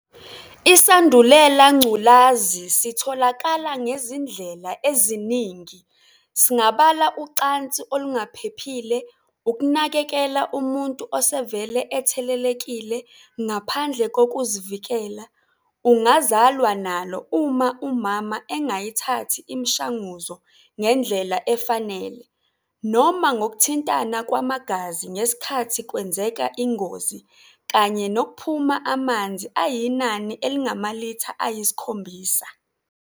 isandulelangculazi sitholakala ngezindlela eziningi singabala ucansi olungaphephile, ukunakekela umuntu osevele ethelelekile ngaphandle kokuzivikela, ungazalwa nalo uma umama engaythathi imshanguzo ngendllela efanele, noma ngokuthintana kwamagazi ngesikhathi kwenzeka ingozi kanye nokuphuma amnzi ayinani elingamalitha ayiskhombisa.